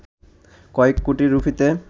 কয়েক কোটি রুপিতে